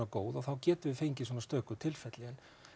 góð og þá getum við fengið svona stöku tilfelli